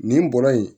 Nin bɔra yen